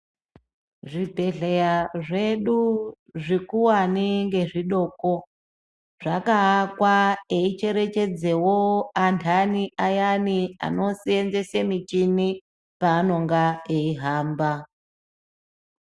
Zvibhehleya zvedu zvikuvane ngezvidoko zvakavakwa eicherechedzevo andani ayana anoseenzese miti paanenge eihamba.